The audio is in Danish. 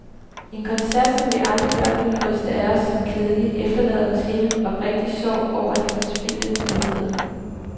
En koncert som vi andre blot ville ryste af os som kedelig, efterlader hos hende oprigtig sorg over de forspildte muligheder.